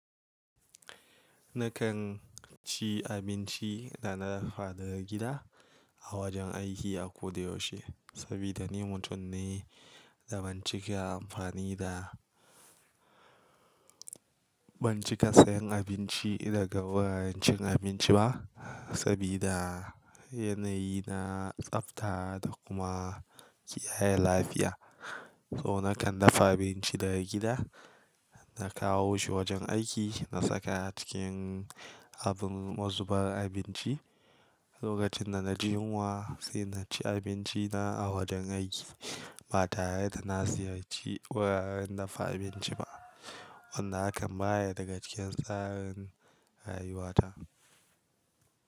Nakan ci abinci da na dafa daga gida a wajen aiki a ko da yaushe. Saboda ni mutum ne da ban cika amfani da, ban cika sayen abinci daga wuraren cin abinci ba. Saboda yanayi na tsafta da kuma kiyaya lafiya. So nakan dafa abinci daga gida, na kawo shi wajen aiki, na saka a cikin abun mazubar abinci. Lokacin da na ji yunwa, sai na ci abinci na a wajen aiki. Ba tare da na ziyarci wuraren dafa abinci ba. Wannan hakan baya daga cikin tsarin rayuwarta.